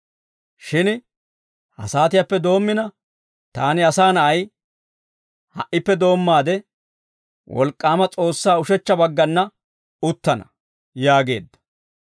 Shin ha saatiyaappe doommina taani Asaa Na'ay, ha"ippe doommaade, wolk'k'aama S'oossaa ushechcha baggana uttana» yaageedda.